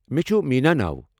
مےٚ چُھ مینا ناو ۔